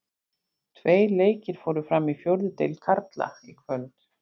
Tveir leikir fóru fram í fjórðu deild karla í kvöld.